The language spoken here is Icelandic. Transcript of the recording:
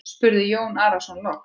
spurði Jón Arason loks.